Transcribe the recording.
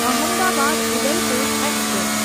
Ahmedabad Udaipur express